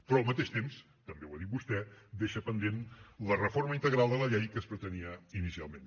però al mateix temps també ho ha dit vostè deixa pendent la reforma integral de la llei que es pretenia inicialment